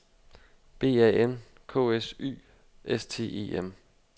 B A N K S Y S T E M